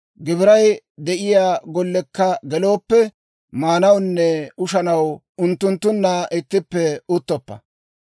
«Gibiray de'iyaa golliyaakka geloppa; maanawunne ushanaw unttunttunna ittippe uttoppa.